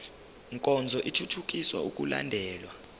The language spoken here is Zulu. nkonzo ithuthukisa ukulandelwa